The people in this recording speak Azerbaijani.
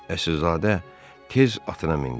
Əsilzadə tez atına mindi.